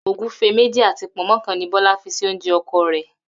Ògúfe méjì àti pò̩nmó̩ kan ni Bó̩lá fi si oúnje̩ o̩ko̩ rè̩